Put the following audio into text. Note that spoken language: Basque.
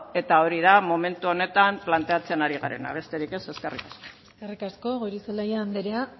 eta hori da momentu honetan planteatzen ari garena besterik ez eskerrik asko eskerrik asko goirizelaia andrea